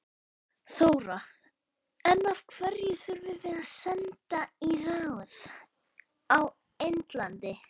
Þóra: En af hverju þurfum við sendiráð í Indlandi?